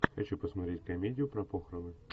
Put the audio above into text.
хочу посмотреть комедию про похороны